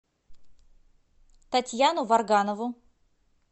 татьяну варганову